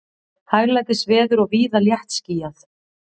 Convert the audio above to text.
Hæglætisveður og víða léttskýjað